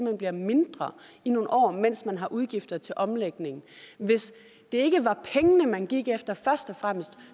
hen bliver mindre i nogle år mens man har udgifter til omlægning hvis det ikke var pengene man gik efter først og fremmest